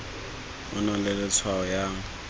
o na le tshwanelo ya